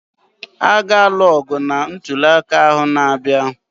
A ga-alụ ọgụ na ntụliaka ahụ n'abịa